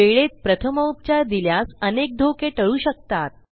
वेळेत प्रथमोपचार दिल्यास अनेक धोके टळू शकतात